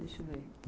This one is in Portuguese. Deixa eu ver.